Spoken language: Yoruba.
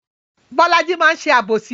Bolaji máa ń ṣe àbòsí